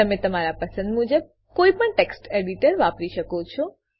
તમે તમારા પસંદ મુજબ કોઈપણ ટેક્સ્ટ એડીટર વાપરી શકો છો